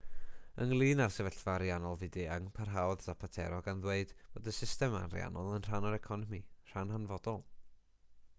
ynglŷn â'r sefyllfa ariannol fyd-eang parhaodd zapatero gan ddweud bod y system ariannol yn rhan o'r economi rhan hanfodol